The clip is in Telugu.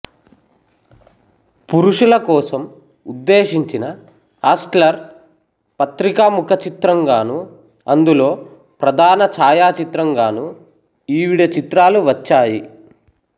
పురుషుల కోసం ఉద్దేశించిన హస్ట్లర్ పత్రిక ముఖచిత్రంగానూ అందులో ప్రధాన ఛాయాచిత్రం గానూ ఈవిడ చిత్రాలు వచ్చాయి